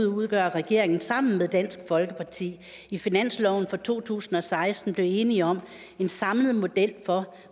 udgør regeringen sammen med dansk folkeparti i finansloven for to tusind og seksten blev enige om en samlet model for